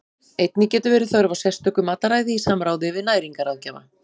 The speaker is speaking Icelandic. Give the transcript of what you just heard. Einnig getur verið þörf á sérstöku mataræði í samráði við næringarráðgjafa.